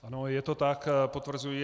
Ano, je to tak, potvrzuji.